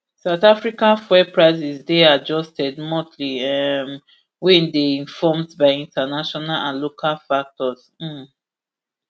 south africa fuel prices dey adjusted monthly um wey dey informed by international and local factors um